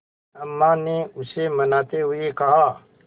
अम्मा ने उसे मनाते हुए कहा